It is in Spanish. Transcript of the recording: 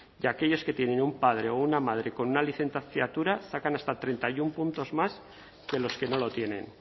que aquellos que tienen un padre o una madre con una licenciatura sacan hasta treinta y uno puntos más que los que no lo tienen